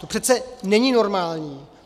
To přece není normální.